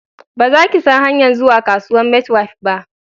Ba za ki san hanyan zuwa kasuwan maitwef ba